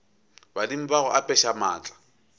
badimo ba go apeša maatla